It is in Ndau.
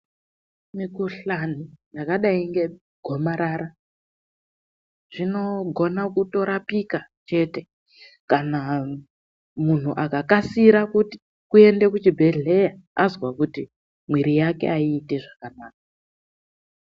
Mikuhlani yakadai ngegomarara zvinogona kutorapika chete kana munhu akakasika kuti kuende kuchibhedhleya azwa kuti mwiri yake aiti zvakanaka.